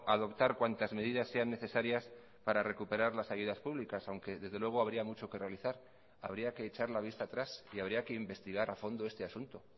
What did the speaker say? adoptar cuantas medidas sean necesarias para recuperar las ayudas públicas aunque desde luego habría mucho que realizar habría que echar la vista atrás y habría que investigar a fondo este asunto